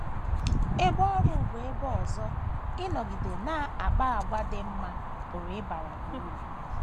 Ebe ọrụ bụ ebe ọzọ ịnọgide na - akpa àgwà dị mma pụrụ ịbara gị uru.